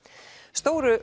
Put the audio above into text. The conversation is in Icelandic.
stóru